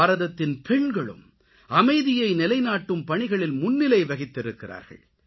பாரதத்தின் பெண்களும் அமைதியை நிலைநாட்டும் பணிகளில் முன்னிலை வகித்திருக்கிறார்கள்